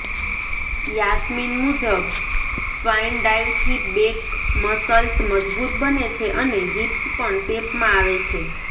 યાસ્મીન મુજબ સ્વાઇન ડાઇવથી back muscles મજબૂત બને છે અને હિપ્સ પણ શેપમાં આવે છે